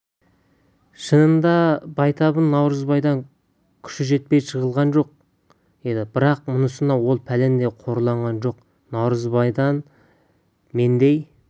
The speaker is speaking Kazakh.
шынында байтабын наурызбайдан күші жетпей жығылған жоқ еді бірақ мұнысына ол пәлендей қорланған жоқ наурызбайдан мендей